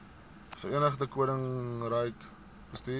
verenigde koninkryk bestuur